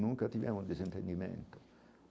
Nunca tivemos um desentendimento.